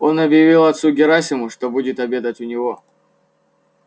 он объявлял отцу герасиму что будет обедать у него